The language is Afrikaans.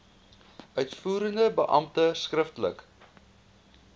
uitvoerende beampte skriftelik